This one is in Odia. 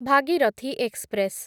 ଭାଗିରଥୀ ଏକ୍ସପ୍ରେସ